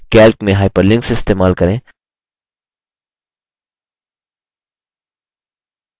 calc में hyperlinks इस्तेमाल करें